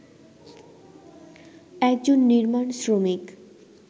একজন নির্মাণ শ্রমিক